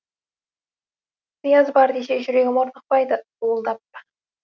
сыяз бар десе жүрегім орнықпайды суылдап